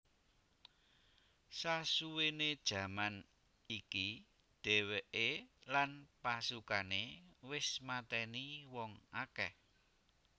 Sasuwene jaman iki dheweke lan pasukane wis mateni wong akeh